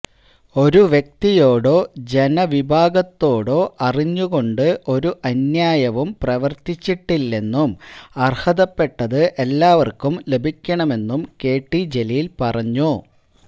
ഒരു വ്യക്തിയോടൊ ജനവിഭാഗത്തോടൊ അറിഞ്ഞുകൊണ്ട് ഒരു അന്യായവും പ്രവര്ത്തിച്ചിട്ടില്ലെന്നും അര്ഹതപ്പെട്ടത് എല്ലാവര്ക്കും ലഭിക്കണമെന്നും കെടി ജലീല് പറഞ്ഞു